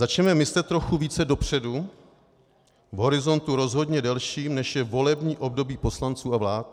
Začněme myslet trochu více dopředu v horizontu rozhodně delším, než je volební období poslanců a vlád.